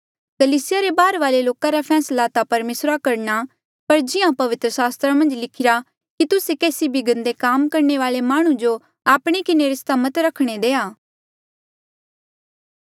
कलीसिया रे बाहरले लोका रा फैसला ता परमेसरा करणा पर जिहां पवित्र सास्त्रा मन्झ लिखिरा कि तुस्से केसी भी गंदे काम करणे वाले माह्णुं जो आपणे किन्हें रिस्ता मत रखणा देआ